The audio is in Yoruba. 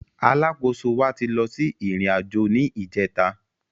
Alákóso wa ti lọ sí ìrìn àjò ni ìjẹta